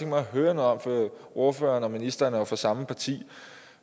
mig at høre noget om for ordføreren og ministeren er jo fra samme parti